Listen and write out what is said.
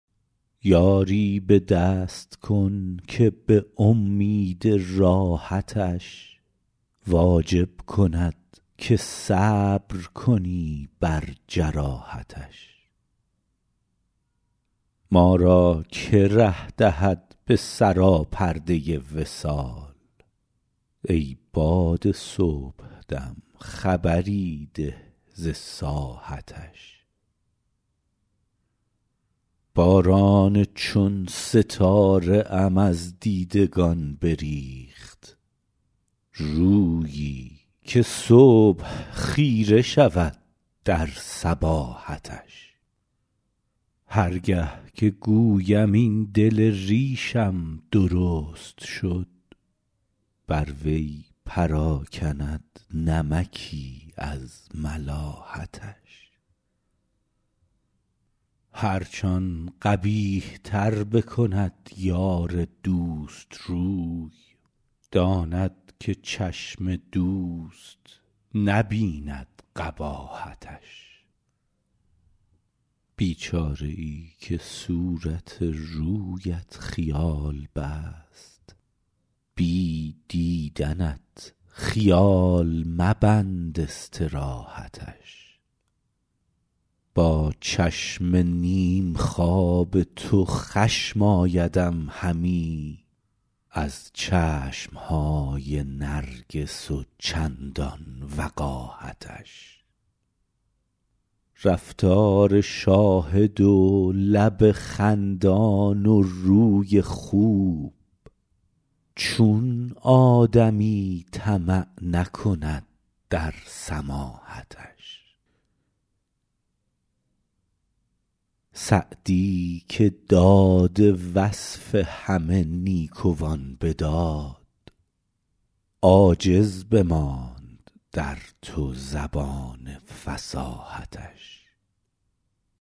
یاری به دست کن که به امید راحتش واجب کند که صبر کنی بر جراحتش ما را که ره دهد به سراپرده وصال ای باد صبح دم خبری ده ز ساحتش باران چون ستاره ام از دیدگان بریخت رویی که صبح خیره شود در صباحتش هر گه که گویم این دل ریشم درست شد بر وی پراکند نمکی از ملاحتش هرچ آن قبیح تر بکند یار دوست روی داند که چشم دوست نبیند قباحتش بیچاره ای که صورت رویت خیال بست بی دیدنت خیال مبند استراحتش با چشم نیم خواب تو خشم آیدم همی از چشم های نرگس و چندان وقاحتش رفتار شاهد و لب خندان و روی خوب چون آدمی طمع نکند در سماحتش سعدی که داد وصف همه نیکوان به داد عاجز بماند در تو زبان فصاحتش